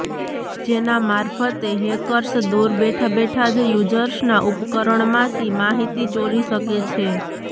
જેના મારફતે હેકર્સ દૂર બેઠા બેઠા જ યૂઝર્સના ઉપકરણમાંથી માહીતી ચોરી શકે છે